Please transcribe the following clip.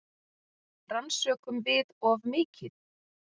Rannsökum við of mikið?